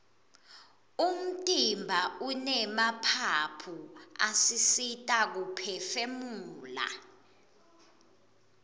umtimba unemaphaphu asisita kuphefumula